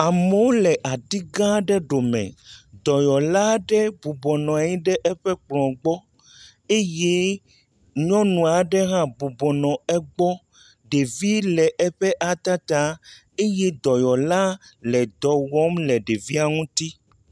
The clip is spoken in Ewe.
Amewo le aɖi gã aɖe ɖome, dɔyɔla aɖe bɔbɔ nɔ anyi ɖe eƒe kplɔ̃ gbɔ eye nyɔnu aɖe hã bɔbɔ nɔ egbɔ. Ɖevi le eƒe ata taa eye dɔyɔla le dɔ wɔm le ɖevia ŋuti.